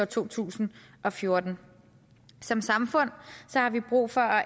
to tusind og fjorten som samfund har vi brug for